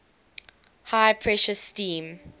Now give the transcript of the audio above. high pressure steam